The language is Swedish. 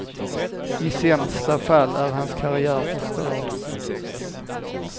I sämsta fall är hans karriär förstörd.